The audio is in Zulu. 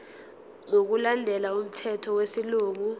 ngokulandela umthetho wesilungu